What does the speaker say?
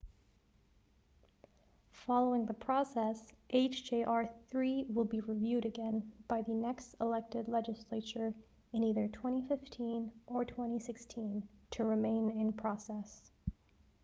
following the process hjr-3 will be reviewed again by the next elected legislature in either 2015 or 2016 to remain in process